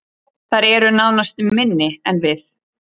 Þær eru nánast minni en við